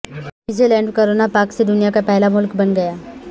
New Zealand corona سے پاک دنیا کا پہلا ملک بن گیا